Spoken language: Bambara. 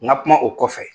N ka kuma o kɔfɛ